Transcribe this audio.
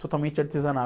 Totalmente artesanal.